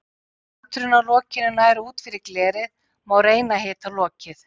Ef kanturinn á lokinu nær út fyrir glerið má reyna að hita lokið.